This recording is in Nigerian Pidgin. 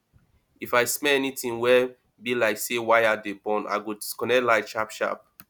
if i smell anytin wey bi like say wire dey burn i go disconnect light sharp sharp